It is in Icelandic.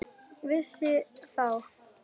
Vissi þá enginn neitt heldur?